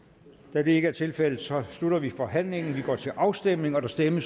da det ikke er tilfældet slutter vi forhandlingen og vi går til afstemning afstemning